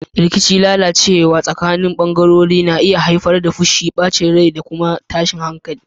Rikici mai lalacewa tsakanin bangarori na iya haifar da fushi, bacin rai, da tashin hankali